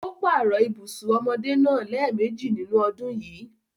Ó páàrọ̀ ibùsùn ọmọdé náà lẹ́ẹ̀mejì nínú ọdún yìí.